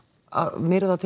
að myrða til